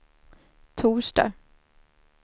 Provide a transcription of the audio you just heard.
torsdag